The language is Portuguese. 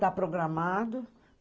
Tá programado.